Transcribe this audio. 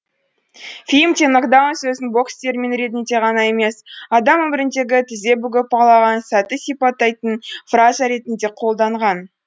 фильмде нокдаун сөзін бокс термині ретінде ғана емес адам өміріндегі тізе бүгіп құлаған сәтті сипаттайтын фраза ретінде қолданған